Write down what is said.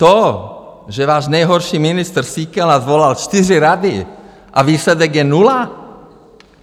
To, že váš nejhorší ministr Síkela svolal čtyři rady, a výsledek je nula?